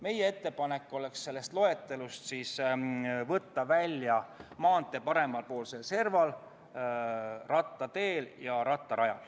Meie ettepanek oli võtta sellest loetelust välja maantee paremapoolne serv, rattatee ja rattarada.